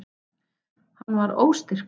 Hann var óstyrkur.